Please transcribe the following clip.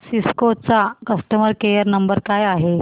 Cisco चा customer care number काय आहे